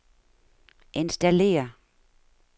installér